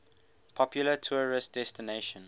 popular tourist destination